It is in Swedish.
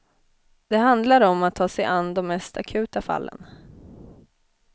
Det handlar om att ta sig an de mest akuta fallen.